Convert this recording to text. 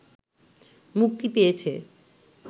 মুক্তি পেয়েছে